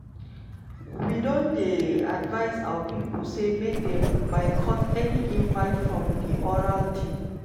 "we don dey advise our pipo say make dem boycott any invite from di oral team.